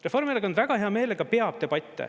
Reformierakond väga hea meelega peab debatte.